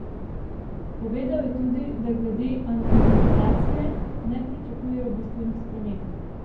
Povedal je tudi, da glede anonimizacije ne pričakuje bistvenih sprememb.